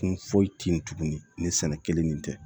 Kun foyi t'i kun ni sɛnɛ kelen nin tɛ